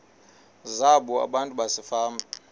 zabo abantu basefama